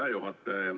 Hea juhataja!